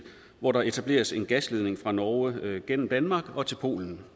hvor der etableres en gasledning fra norge gennem danmark og til polen